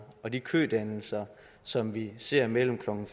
og de kødannelser som vi ser mellem klokken